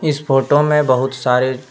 इस फोटो में बहुत सारे--